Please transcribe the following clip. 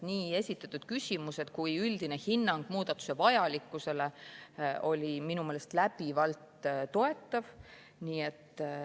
Nii esitatud küsimused kui ka üldine hinnang muudatuste vajalikkusele olid minu meelest läbivalt toetavad.